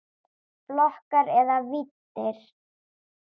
Flokkar eða víddir